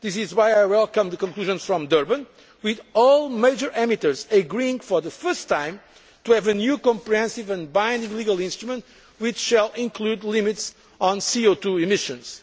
in Europe. This is why I welcome the conclusions from Durban, with all major emitters agreeing for the first time to have a new comprehensive and binding legal instrument which will include limits on CO